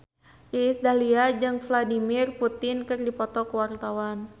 Iis Dahlia jeung Vladimir Putin keur dipoto ku wartawan